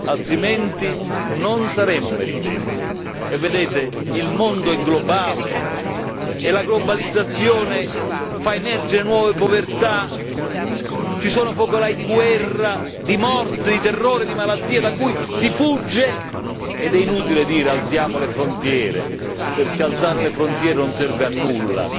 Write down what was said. altrimenti non saremo meritevoli e, vedete, il mondo è globale e la globalizzazione fa emergere nuove povertà, ci sono focolai di guerra, di morte, di terrore, di malattia, da cui si fugge ed è inutile dire alziamo le frontiere perché alzare le frontiere non serve a nulla.